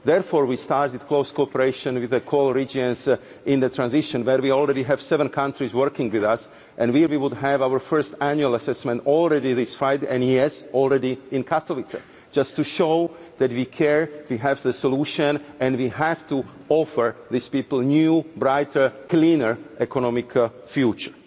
Therefore, we started close cooperation with the co regions in the transition, where we already have seven countries working with us and we will have our first annual assessment already this Friday and, yes, already in Katowice, just to show that we care, we have the solution and we have to offer these people a new, brighter, cleaner economic future.